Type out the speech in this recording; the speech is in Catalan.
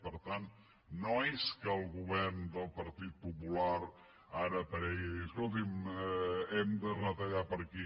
per tant no és que el govern del partit popular ara aparegui i digui escolti’m hem de retallar per aquí